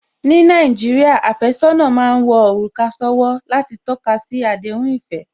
Ní Nàìjíríà, àfẹ́sọ́nà má ń wọ òrùka sówó láti tọ́kasi àdéhùn ìfẹ́